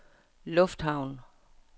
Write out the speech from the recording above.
lufthavn